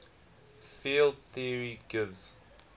field theory gives